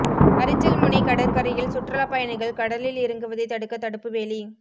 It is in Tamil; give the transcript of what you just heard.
அரிச்சல்முனை கடற்கரையில் சுற்றுலா பயணிகள் கடலில் இறங்குவதை தடுக்க தடுப்பு வேலி